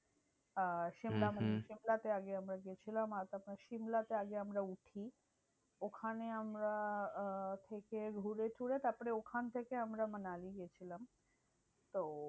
আহ সিমলা হম হম সিমলাতে আগে আমরা গেছিলাম। আর তারপর সিমলাতে আগে আমরা উঠি। ওখানে আমরা আহ থেকে ঘুরে টুরে তারপরে ওখান থেকে আমরা মানালি গেছিলাম। তো